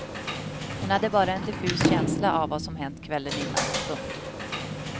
Hon hade bara en diffus känsla av vad som hänt kvällen innan. punkt